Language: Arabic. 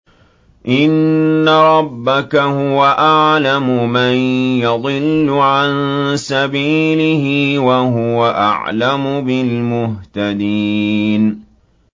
إِنَّ رَبَّكَ هُوَ أَعْلَمُ مَن يَضِلُّ عَن سَبِيلِهِ ۖ وَهُوَ أَعْلَمُ بِالْمُهْتَدِينَ